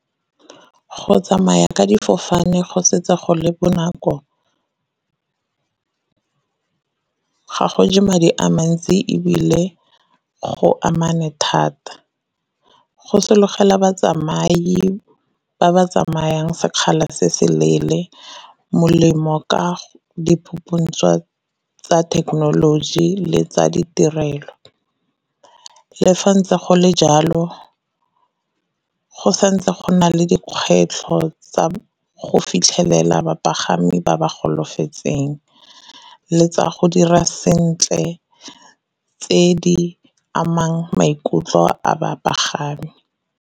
Go tsamaya ka difofane go setse go le bonako, ga go je madi a mantsi ebile go amane thata. Go sologela batsamai ba ba tsamayang sekgala se se leele molemo ka tsa thekenoloji le tsa ditirelo. Le fa ntse go le jalo, go santse go na le dikgwetlho tsa go fitlhelela bapagami ba ba golafetseng le tsa go dira sentle tse di amang maikutlo a bapagami.